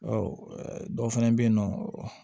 Ɔ dɔw fana bɛ yen nɔ